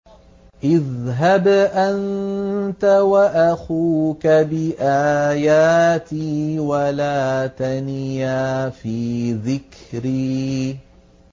اذْهَبْ أَنتَ وَأَخُوكَ بِآيَاتِي وَلَا تَنِيَا فِي ذِكْرِي